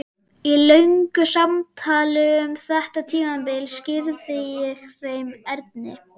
Í löngu samtali um þetta tímabil skýrði ég þeim Erni